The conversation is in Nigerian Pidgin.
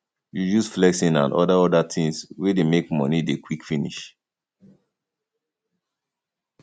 reduce flexing and oda oda things wey dey make money dey quick finish